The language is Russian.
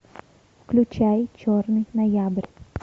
включай черный ноябрь